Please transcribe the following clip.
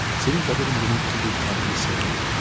Sənin qədərin mənimki kimi qatili sevmək.